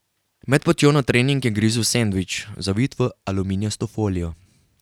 Med potjo na trening je grizel sendvič, zavit v aluminijasto folijo.